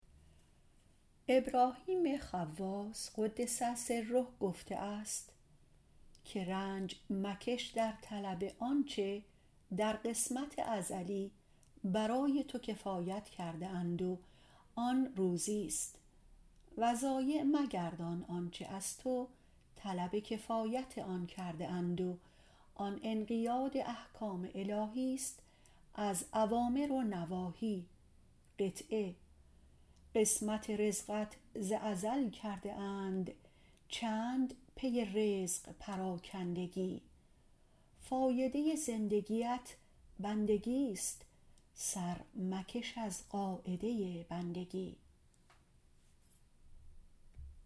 ابراهیم خواص - قدس سره - گفته است رنج مکش در طلب آنچه در قسمت ازلی برای تو کفایت کرده اند و آن روزیست و ضایع مگردان آنچه از تو طلب کفایت آن کرده اند و آن انقیاد احکام الهیست از اوامر و نواهی قسمت رزقت ز ازل کرده اند چند پی رزق پراکندگی فایده زندگیت بندگیست سر مکش از قاعده بندگی